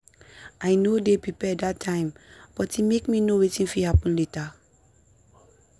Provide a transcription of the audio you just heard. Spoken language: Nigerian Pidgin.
i no dey prepared that time but e make me know wetin fit happen later.